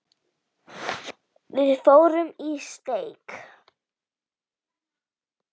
Við fórum í steik.